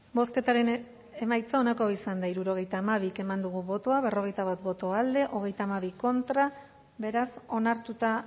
bozketaren emaitza onako izan da hirurogeita hamabi eman dugu bozka berrogeita bat boto alde treinta y dos contra beraz onartuta